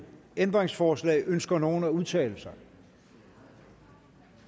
ændringsforslag ønsker nogen at udtale sig